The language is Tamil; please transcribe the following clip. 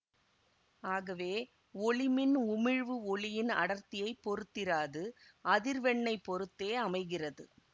ஆகவே ஒளிமின் உமிழ்வு ஒளியின் அடர்த்தியைப் பொறுத்திராது அதிர்வெண்ணைப் பொறுத்தே அமைகிறது